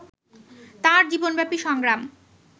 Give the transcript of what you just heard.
তাঁর জীবনব্যাপী সংগ্রাম